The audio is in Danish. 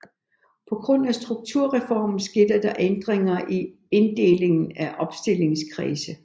På grund af Strukturreformen skete der ændringer i inddelingen af opstillingskredse